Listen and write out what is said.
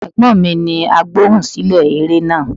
Ẹ̀gbọ́n mi ni Agbohùnsílẹ̀ eré náà.